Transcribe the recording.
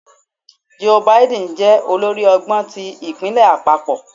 Joe Biden jẹ olórí ọgbọn ti ipinlẹ apapọ?